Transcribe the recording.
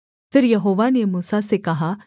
फिर यहोवा ने मूसा से कहा